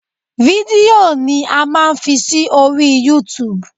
Fídíò ni a máa fi sí orí Youtube